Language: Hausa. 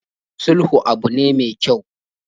Sulhu abu ne mai kyau.